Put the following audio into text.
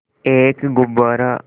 एक गुब्बारा